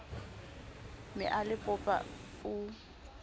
ne a le popa o